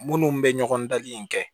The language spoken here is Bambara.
Minnu bɛ ɲɔgɔn dali in kɛ